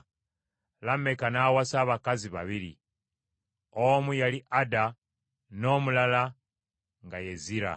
Lameka n’awasa abakazi babiri: omu yali Ada n’omulala nga ye Zira.